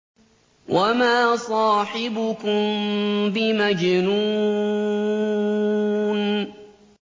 وَمَا صَاحِبُكُم بِمَجْنُونٍ